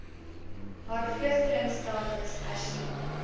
haar vlugtelingstatus hersien